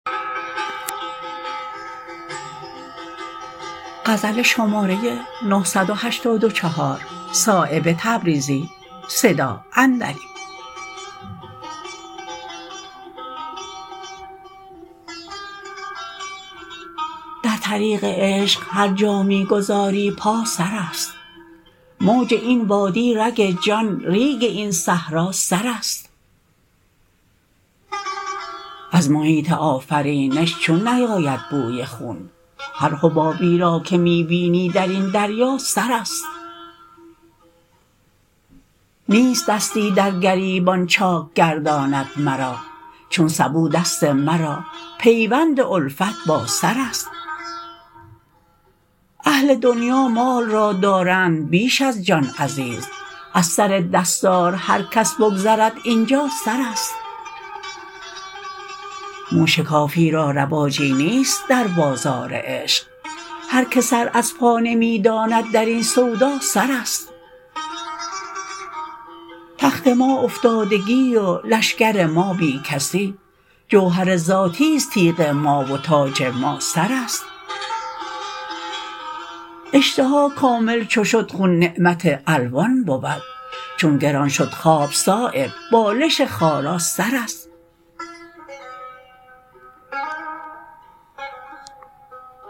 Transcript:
در طریق عشق هر جا می گذاری پا سرست موج این وادی رگ جان ریگ این صحرا سرست از محیط آفرینش چون نیاید بوی خون هر حبابی را که می بینی درین دریا سرست نیست دستی در گریبان چاک گرداندن مرا چون سبو دست مرا پیوند الفت با سرست اهل دنیا مال را دارند بیش از جان عزیز از سر دستار هر کس بگذرد اینجا سرست مو شکافی را رواجی نیست در بازار عشق هر که سر از پا نمی داند درین سودا سرست تخت ما افتادگی و لشکر ما بی کسی جوهر ذاتی است تیغ ما و تاج ما سرست اشتها کامل چو شد خون نعمت الوان بود چون گران شد خواب صایب بالش خارا سرست